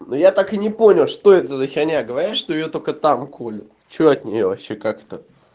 ну я так и не понял что это за херня говорят что её только там колют что от неё вообще как это